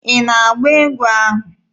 Ị na-agba egwu ahụ?